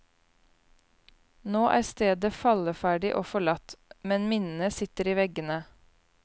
Nå er stedet falleferdig og forlatt, men minnene sitter i veggene.